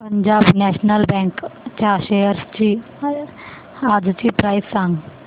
Punjab national bank च्या shares आजची price सांगा